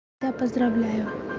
да поздравляю